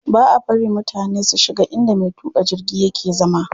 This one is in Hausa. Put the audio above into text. Baʼa bari mutane su shiga inda me tuƙa jirgi yake zama.